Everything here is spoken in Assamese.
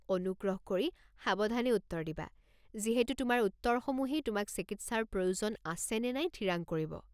অনুগ্ৰহ কৰি সাৱধানে উত্তৰ দিবা, যিহেতু তোমাৰ উত্তৰসমূহেই তোমাক চিকিৎসাৰ প্ৰয়োজন আছে নে নাই থিৰাং কৰিব।